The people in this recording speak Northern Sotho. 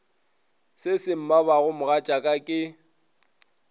se se mmabago mogatšaka ke